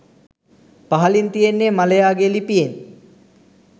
පහලින් තියෙන්නේ මලයාගේ ලිපියෙන්